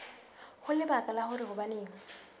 ho lebaka la hore hobaneng